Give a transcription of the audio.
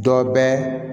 Dɔ bɛ